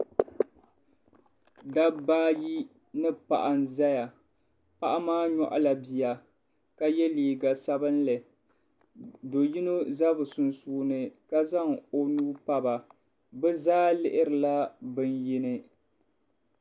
Dabba ayi ni paɣa n-zaya paɣa maa nyɔɣila bia ka ye liiga sabinli do yino za bɛ sunsuuni ka zaŋ o nuu pa ba bɛ zaa lihirila bini yini.